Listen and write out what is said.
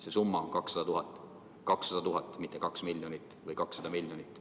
See summa on 200 000. 200 000, mitte 2 miljonit või 200 miljonit.